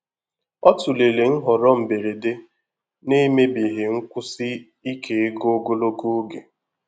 Ọ tụlere nhọrọ mberede na-emebighị nkwụsi ike ego ogologo oge.